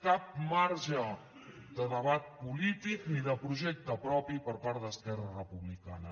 cap marge de debat polític ni de projecte propi per part d’esquerra republicana